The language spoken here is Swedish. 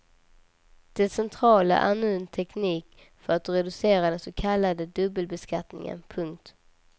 Det centrala är en ny teknik för att reducera den så kallade dubbelbeskattningen. punkt